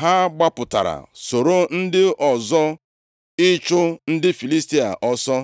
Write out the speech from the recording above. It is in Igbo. Ha gbapụtara soro ndị ọzọ ịchụ ndị Filistia ọsọ.